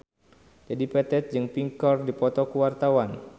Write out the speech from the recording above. Dedi Petet jeung Pink keur dipoto ku wartawan